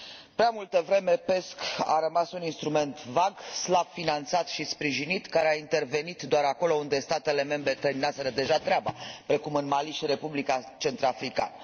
Prea multă vreme PESC a rămas un instrument vag, slab finanțat și sprijinit, care a intervenit doar acolo unde statele membre terminaseră deja treaba, precum în Mali și Republica Centrafricană.